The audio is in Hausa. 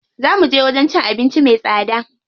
Zaa muje wajen cin abinci me tsada.